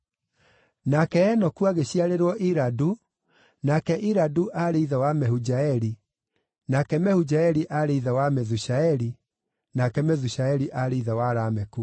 Nake Enoku agĩciarĩrwo Iradu, nake Iradu aarĩ ithe wa Mehujaeli, nake Mehujaeli aarĩ ithe wa Methushaeli, nake Methushaeli aarĩ ithe wa Lameku.